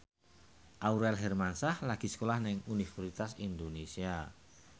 Aurel Hermansyah lagi sekolah nang Universitas Indonesia